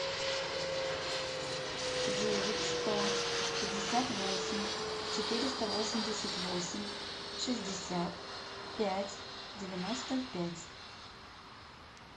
девять сто пятьдесят восемь четыреста восемьдесят восемь шестьдесят пять девяносто пять